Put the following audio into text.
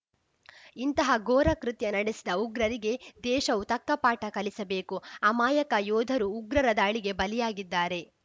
ಇಂತಹ ಘೋರಕೃತ್ಯ ನಡೆಸಿದ ಉಗ್ರರಿಗೆ ದೇಶವು ತಕ್ಕ ಪಾಠ ಕಲಿಸಬೇಕು ಅಮಾಯಕ ಯೋಧರು ಉಗ್ರರ ದಾಳಿಗೆ ಬಲಿಯಾಗಿದ್ದಾರೆ